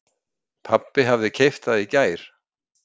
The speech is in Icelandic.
Pabbi hafði keypt það í gær.